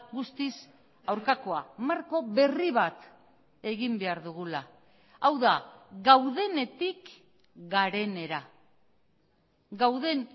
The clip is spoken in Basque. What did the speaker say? guztiz aurkakoa marko berri bat egin behar dugula hau da gaudenetik garenera gauden